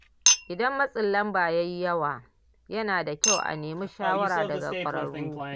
Idan matsin lamba ya yi yawa, yana da kyau a nemi shawara daga ƙwararru.